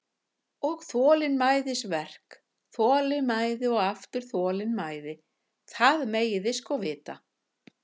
Og þolinmæðisverk, þolinmæði og aftur þolinmæði, það megið þið sko vita.